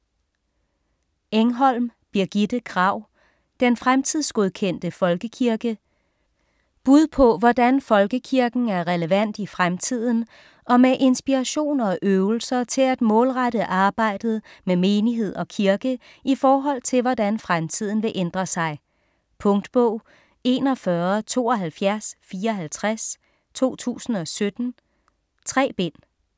Engholm, Birgitte Kragh: Den fremtidsgodkendte folkekirke Bud på hvordan folkekirken er relevant i fremtiden, og med inspiration og øvelser til at målrette arbejdet med menighed og kirke i forhold til hvordan fremtiden vil ændre sig. Punktbog 417254 2017. 3 bind.